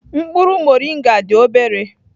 Mkpụrụ Moringa dị obere.